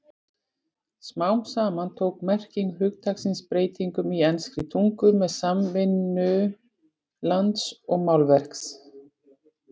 Smám saman tók merking hugtaksins breytingum í enskri tungu með samtvinnun lands og málverks.